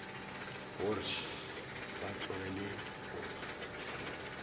gore š ba tlogele diposo